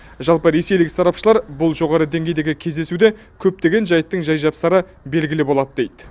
жалпы ресейлік сарапшылар бұл жоғары деңгейдегі кездесуде көптеген жайттың жай жапсары белгілі болады дейді